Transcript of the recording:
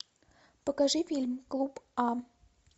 покажи фильм клуб а